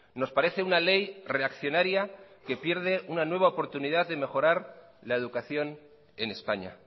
nos parece una ley reaccionaria que pierde una nueva oportunidad de mejorar la educación en españa